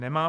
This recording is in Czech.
Nemá.